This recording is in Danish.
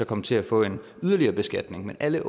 komme til at få en yderligere beskatning men alle